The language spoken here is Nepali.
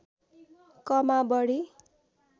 कमा बढी